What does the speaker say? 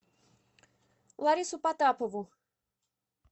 ларису потапову